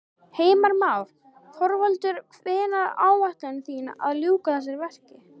Heimir Már: Þorvaldur hvenær áætlið þið að ljúka þessu verki?